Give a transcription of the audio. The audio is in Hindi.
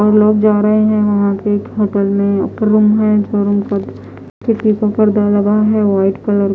वहाँ लोग जा रहे है वहाँ के होटल में ऊपर रूम है जो रूम है खिड़की में पर्दा लगा है व्हाइट कलर --